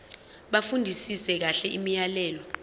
bafundisise kahle imiyalelo